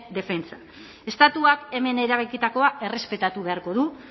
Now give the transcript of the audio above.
defentsa estatuak hemen erabakitakoa errespetatu beharko du